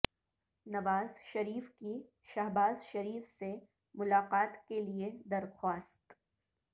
نواز شریف کی شہباز شریف سے ملاقات کیلئے درخواست